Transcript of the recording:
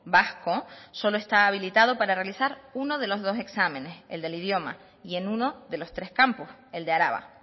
vasco solo está habilitado para realizar uno de los dos exámenes el del idioma y en uno de los tres campos el de araba